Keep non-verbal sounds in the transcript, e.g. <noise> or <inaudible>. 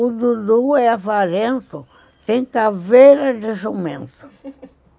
O Dudu é avarento, tem caveira de jumento <laughs>